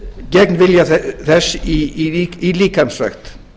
gegn vilja þess í líkamsrækt